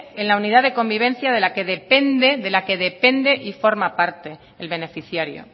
en la unidad de convivencia de la que depende que depende que la que depende y forma parte el beneficiario